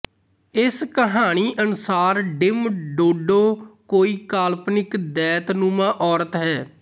ਇਸ ਕਹਾਣੀ ਅਨੁਸਾਰ ਡਿਮ ਡੋਡੋ ਕੋਈ ਕਾਲਪਨਿਕ ਦੈਂਤਨੁਮਾ ਔਰਤ ਹੈ